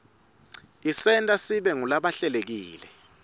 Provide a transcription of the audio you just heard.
isenta sibe ngulabahlelekile